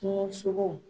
Kungosogo